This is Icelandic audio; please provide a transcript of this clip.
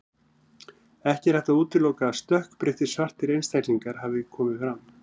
Ekki er hægt að útiloka að stökkbreyttir, svartir einstaklingar hafi komið fram.